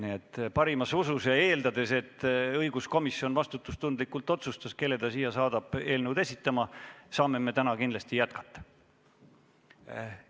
Nii et lähtudes parimast usust ja eeldades, et õiguskomisjon vastutustundlikult otsustas, kelle ta siia eelnõu esitlema saadab, saame me täna kindlasti jätkata.